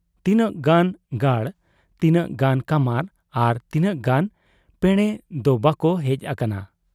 ᱛᱤᱱᱟᱹᱜ ᱜᱟᱱ ᱜᱟᱹᱲ, ᱛᱤᱱᱟᱹᱜ ᱜᱟᱱ ᱠᱟᱢᱟᱨ ᱟᱨ ᱛᱤᱱᱟᱹᱜ ᱜᱟᱱ ᱯᱮᱬᱮᱫᱚ ᱵᱟᱠᱚ ᱦᱮᱡ ᱟᱠᱟᱱᱟ ᱾